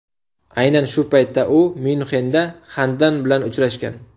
Aynan shu paytda u Myunxenda Xandan bilan uchrashgan.